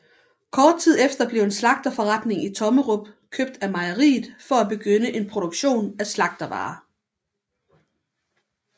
Kort tid efter blev en slagterforretning i Tommerup købt af mejeriet for at begynde en produktion af slagtervarer